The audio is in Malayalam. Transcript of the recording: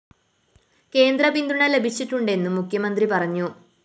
കേന്ദ്രപിന്തുണ ലഭിച്ചിട്ടുണ്ടെന്നും മുഖ്യമന്ത്രി പറഞ്ഞു